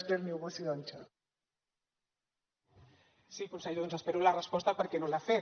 sí conseller doncs espero la resposta perquè no l’ha fet